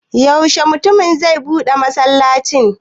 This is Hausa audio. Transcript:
Yaushe mutumin zai buɗe masallacin?